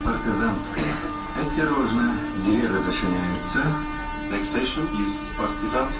казанская осторожно деревня значения лица достаточно близких партизан